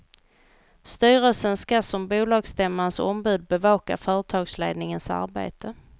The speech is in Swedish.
Styrelsen ska som bolagsstämmans ombud bevaka företagsledningens arbete.